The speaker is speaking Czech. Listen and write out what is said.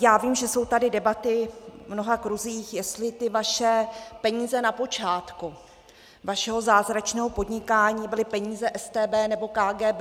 Já vím, že jsou tady debaty v mnoha kruzích, jestli ty vaše peníze na počátku vašeho zázračného podnikání byly peníze StB nebo KGB.